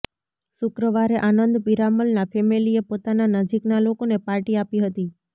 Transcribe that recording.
શુક્રવારે આનંદ પીરામલનાં ફેમિલીએ પોતાના નજીકનાં લોકોને પાર્ટી આપી હતી